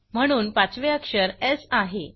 म्हणून पाचवे अक्षर स् आहे